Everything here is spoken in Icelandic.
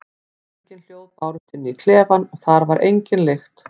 Engin hljóð bárust inn í klefann og þar var engin lykt.